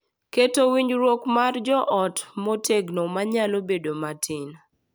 Keto winjruok mag joot motegno ma nyalo bedo matin